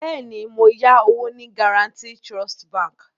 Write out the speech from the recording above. Bẹ́ẹ̀ni, mo yá owó ní Guaranty Trust bank